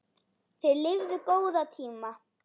Þeir lifðu góða tíma.